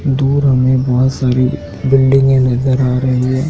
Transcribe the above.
दूर हमें बहोत सारी बिल्डिंगे नजर आ रही है।